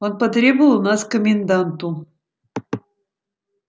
он потребовал нас к коменданту